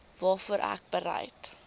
waarvoor ek bereid